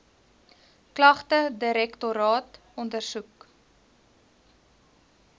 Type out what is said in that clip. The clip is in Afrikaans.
klagte direktoraat ondersoek